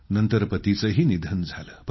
नंतर पतीचेही निधन झाले